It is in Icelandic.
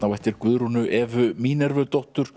á eftir Guðrúnu Evu